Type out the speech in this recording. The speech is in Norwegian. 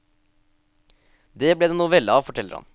Det ble det en novelle av, forteller han.